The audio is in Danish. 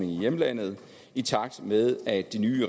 i hjemlandet i takt med at de nye